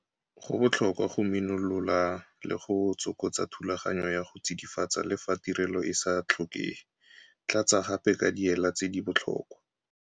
Go botlhokwa go minolola le go tsokotsa thulaganyo ya go tsidifatsa le fa tirelo e sa tlhokege. Tlatsa gape ka diela tse di botlhokwa.